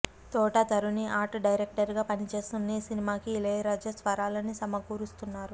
తోట Tharani art director గా పనిచేస్తున్న ఈ సినిమాకి ఇళయరాజా స్వరాలని సమకూరుస్తున్నారు